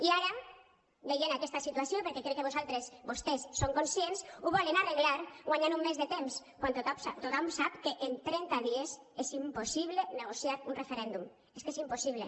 i ara veient aquesta situació perquè crec que vostès en són conscients ho volen arreglar guanyant un mes de temps quan tothom sap que en trenta dies és impossible negociar un referèndum és que és impossible